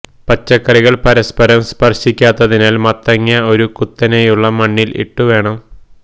പച്ചക്കറികൾ പരസ്പരം സ്പർശിക്കാത്തതിനാൽ മത്തങ്ങ ഒരു കുത്തനെയുള്ള മണ്ണിൽ ഇട്ടു വേണം